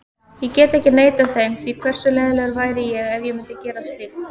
Ég get ekki neitað þeim því, hversu leiðinlegur væri ég ef ég myndi gera slíkt?